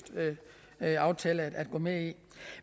aftale at gå med i